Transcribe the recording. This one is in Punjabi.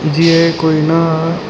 ਜੀ ਏ ਕੋਈ ਨਾ --